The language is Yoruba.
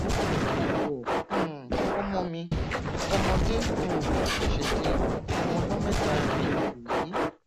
kaabọ̀ um ọmọ mi ọmọdé um ṣẹṣẹ di ọmọ ọdún mẹta ní oṣù yìí